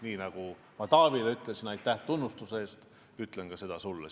Nii nagu ma Taavile ütlesin aitäh tunnustuse eest, ütlen seda ka sulle.